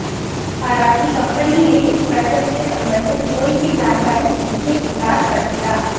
हालांकि कंपनी ने इस बैठक से संबंधित कोई भी जानकारी देने से इनकार कर दिया